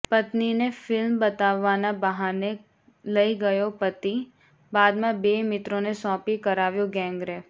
પત્નિને film બતાવવાના બહાને લઈ ગયો પતિઃ બાદમાં બે મિત્રોને સોંપી કરાવ્યો ગેંગરેપ